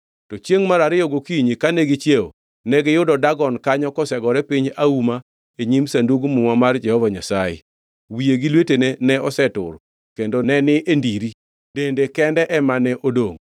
To chiengʼ mar ariyo gokinyi kane gichiewo, negiyudo Dagon kanyo kosegore piny auma e nyim Sandug Muma mar Jehova Nyasaye. Wiye gi lwetene ne osetur kendo ne ni e ndiri, dende kende ema ne odongʼ.